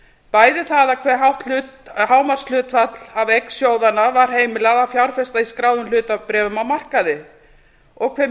bæði það hve hátt hámarkshlutfall af eign sjóðanna var heimilað að fjárfesta í skráðum hlutabréfum á markaði og hve